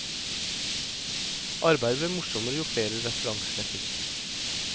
Arbeidet ble morsommere jo flere referanser jeg fikk.